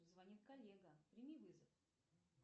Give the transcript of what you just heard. звонит коллега прими вызов